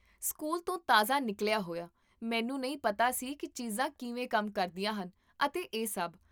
school ਤੋਂ ਤਾਜ਼ਾ ਨਿਕਲਿਆ ਹੋਇਆ, ਮੈਨੂੰ ਨਹੀਂ ਪਤਾ ਸੀ ਕੀ ਚੀਜ਼ਾਂ ਕਿਵੇਂ ਕੰਮ ਕਰਦੀਆਂ ਹਨ ਅਤੇ ਇਹ ਸਭ